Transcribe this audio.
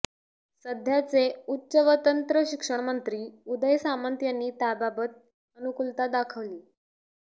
सध्याचे उच्च व तंत्र शिक्षण मंत्री उदय सामंत यांनी त्याबाबत अनुकूलता दाखवली